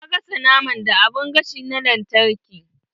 Na gasa naman da abun gashi na lantarki.